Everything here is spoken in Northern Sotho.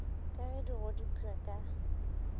ka ge di godipwa ka